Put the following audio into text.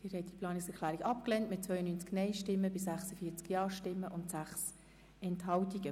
Sie haben die Planungserklärung 5 abgelehnt.